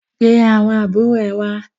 Pe àwọn àbúrò ẹ wá!